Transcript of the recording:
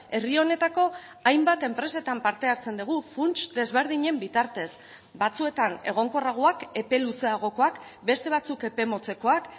herri honetako hainbat enpresetan parte hartzen dugu funts desberdinen bitartez batzuetan egonkorragoak epe luzeagokoak beste batzuk epe motzekoak